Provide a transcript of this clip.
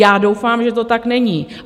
Já doufám, že to tak není.